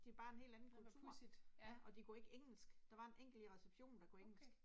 Det er bare en helt anden kultur. Ja, og de kunne ikke engelsk, der var en enkelt i receptionen der kunne engelsk